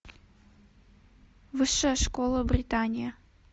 высшая школа британия